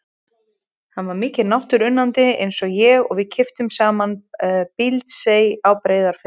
Hann var mikill náttúruunnandi eins og ég og við keyptum saman Bíldsey á Breiðafirði.